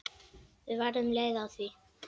Við verðum leið á því.